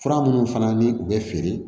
Fura minnu fana ni u bɛ feere